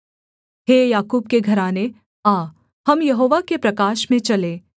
हे याकूब के घराने आ हम यहोवा के प्रकाश में चलें